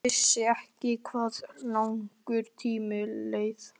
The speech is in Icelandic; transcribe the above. Hún vissi ekki hvað langur tími leið.